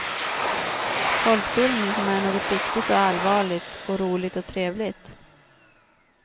Folkbildning, som är något viktigt och allvarligt och roligt och trevligt.